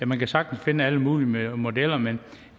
man kan sagtens finde alle mulige modeller men